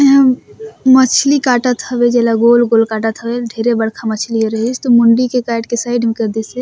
एहा मछली काटत हवे जेला गोल-गोल काटत हवे एल ढेरे बड़का मछली ह रीहीस त मुंडी के काट के साइड में करदी से--